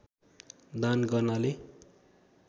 दान गर्नाले